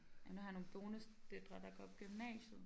Ja nu har jeg nogle bonusdøtre der går på gymnasiet